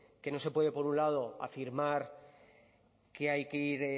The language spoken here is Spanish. que no se puede por un lado afirmar que hay que ir